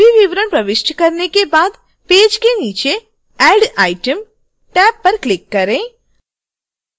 सभी विवरण प्रविष्ट करने के बाद पेज के नीचे add item टैब पर क्लिक करें